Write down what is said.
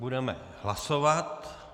Budeme hlasovat.